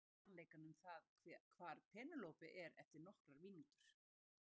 Ég veit sannleikann um það hvar Pénelope er eftir nokkrar mínútur.